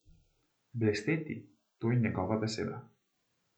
Blesteti, to je njegova beseda.